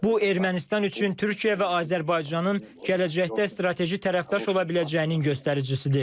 Bu Ermənistan üçün Türkiyə və Azərbaycanın gələcəkdə strateji tərəfdaş ola biləcəyinin göstəricisidir.